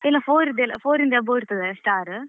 ಎಲ್ಲ four ದೆಲ್ಲ four ಇಂದ above ಇರ್ತದಾ star ?